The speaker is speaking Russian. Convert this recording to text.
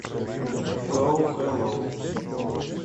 го хеллоу